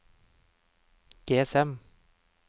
GSM